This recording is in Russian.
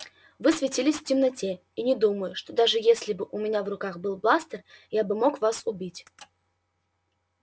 вы светились в темноте и не думаю что даже если бы у меня в руках был бластер я бы мог вас убить